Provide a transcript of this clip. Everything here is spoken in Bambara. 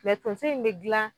Mɛ tonso in be gilan